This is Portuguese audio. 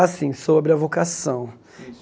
Assim, sobre a vocação.